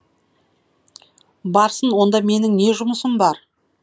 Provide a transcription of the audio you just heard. барсын онда менің не жұмысым бар